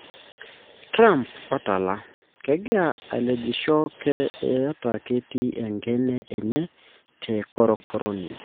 Trump otola:''Kegira alejisho kee eitaa kitii enkene enye te korokoroni.